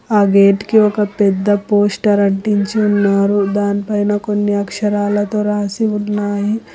ఆ గేట్ కి ఒక పెద్ద పోస్టర్ అంటించి ఉన్నారు దానిపైన కొన్ని అక్షరాలతో రాసి ఉన్నాయి.